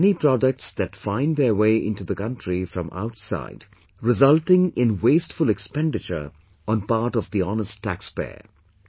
There are many products that find their way into the country from outside resulting in wasteful expenditure on part of the honest Tax payers